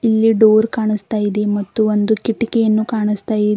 ಇಲ್ಲಿ ಡೋರ್ ಕಾಣಿಸ್ತಾ ಇದೆ ಮತ್ತು ಒಂದು ಕಿಟಿಕಿಯನ್ನು ಕಾಣಿಸ್ತಾ ಇದೆ.